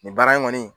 Nin baara in kɔni